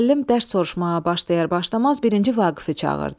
Müəllim dərs soruşmağa başlayar-başlamaz birinci Vaqifi çağırdı.